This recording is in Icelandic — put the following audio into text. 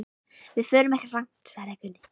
Við förum ekki langt, svaraði Gunni.